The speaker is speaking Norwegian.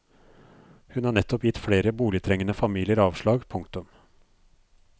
Hun har nettopp gitt flere boligtrengende familier avslag. punktum